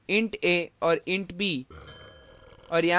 int a और int b